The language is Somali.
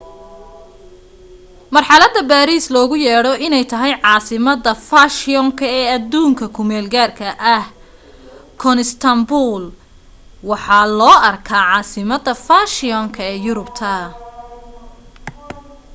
marxalada baariis loogu yeedho inay tahay caasimada faashiyoonka ee aduunyada ku meel gaarka ah constantinople waxaa loo arkaa caasimada fashiyoonka ee yurubta